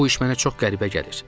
Bu iş mənə çox qəribə gəlir.